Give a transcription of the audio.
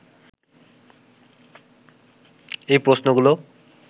এই প্রশ্নগুলো